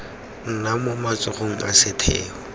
nna mo matsogong a setheo